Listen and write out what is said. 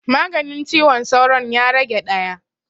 Maganin ciwon sauron ya rage ɗaya